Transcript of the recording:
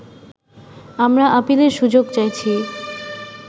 আমরা আপিলের সুযোগ চাইছি